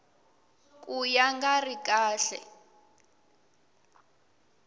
ka ya nga ri kahle